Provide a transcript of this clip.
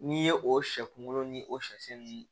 N'i ye o sɛ kunkolo ni o sɛ ninnu